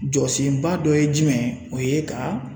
Jɔsenba dɔ ye jumɛn ye o ye ka